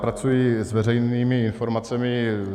Pracuji s veřejnými informacemi.